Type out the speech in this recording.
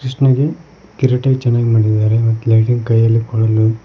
ಕೃಷ್ಣಗೆ ಕಿರೀಟ ಚೆನ್ನಾಗ್ ಮಾಡಿದಾರೆ ಮತ್ತ ಲೈಟಿಂಗ್ ಕೈಯಲ್ಲಿ ಕೊಳಲು--